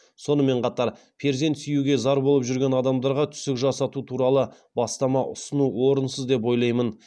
сонымен қатар перзент сүюге зар болып жүрген адамдарға түсік жасату туралы бастама ұсыну орынсыз деп ойлаймын